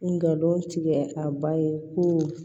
N ga don tigɛ a ba ye ko